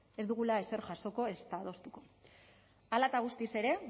ez dugula ezer jasoko ezta adostuko hala eta guztiz ere